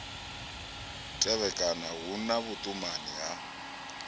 tevhekana hu na vhuṱumani ha